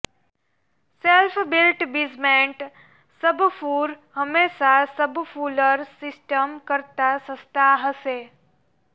self built basement subfloor હંમેશા subfloor system કરતા સસ્તા હશે